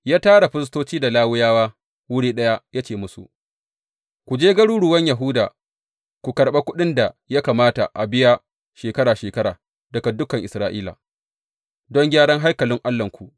Ya tara firistoci da Lawiyawa wuri ɗaya ya ce musu, Ku je garuruwan Yahuda ku karɓa kuɗin da ya kamata a biya shekara shekara daga dukan Isra’ila, don gyaran haikalin Allahnku.